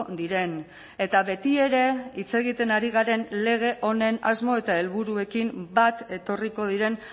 diren eta betiere hitz egiten ari garen lege honen asmo eta helburuekin bat etorriko diren